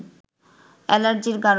এলার্জির কারণে